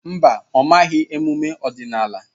Mba, ọ maghị emume ọdịnala.